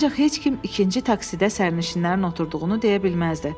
Ancaq heç kim ikinci taksidə sərnişinlərin oturduğunu deyə bilməzdi.